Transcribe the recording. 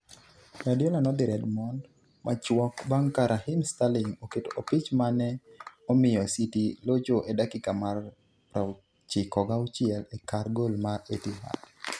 Guardiola nodhi Redmond machuok bang' ka Raheem Sterling oketo opich mane omiyo City locho e dakika mar 96 e kar gol mar Etihad.